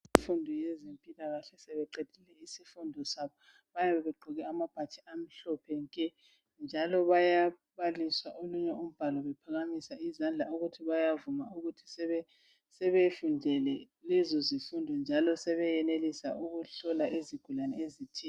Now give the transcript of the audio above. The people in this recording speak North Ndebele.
Infundo yezempilakahle sebeqedile izifundo zabo bayabe begqoke amabhatshi amhlophe nke njalo bayabaliswa olunye umbalo bephakamisa izandla ukuthi bayavuma ukuthi sebefundele lezo zifundo njalo sebeyenelisa ukuhlola izigulane ezithile.